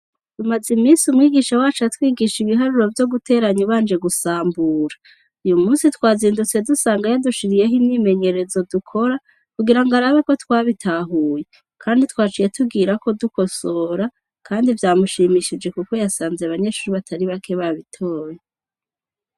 Tumaze iminsi umwigisha wacu atwigisha ibiharuro vyo guteranya ubanje gusambura. Uy'umunsi twazindutse dusanga yadushiriyeho imyimenyerezo dukora, kugira ngo arabe ko twabitahuye. Kandi, twaciye tugirako gukosora kandi vyamushimishije kuko yasanze abanyeshure batari bake babitoye.